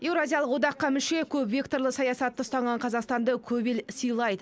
еуразиялық одаққа мүше көпвекторлы саясатты ұстанған қазақстанды көп ел сыйлайды